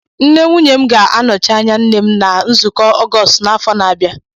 Nne nwunye m ga-anọchi anya nne m na nzukọ ọgọstụ n'afọ na-abịa